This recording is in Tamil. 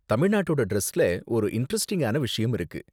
தமிழ்நாட்டோட டிரஸ்ல ஒரு இண்டரெஸ்ட்டிங்கான விஷயம் இருக்கு